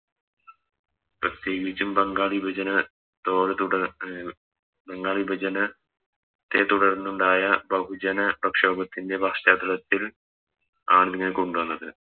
പ്രത്യേകിച്ചും ബംഗാൾ വിഭജന Toll തുട അഹ് ബംഗാൾ വിഭജന തേത്തുടർന്നുണ്ടായ ബഹുജന പ്രക്ഷോഭത്തിൻറെ പശ്ചാത്തലത്തിൽ ആണിതിനെ കൊണ്ടോന്നത്